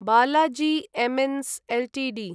Balaji amines Ltd